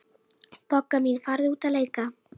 Bogga mín, farðu út að leika.